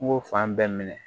N ko fan bɛɛ minɛ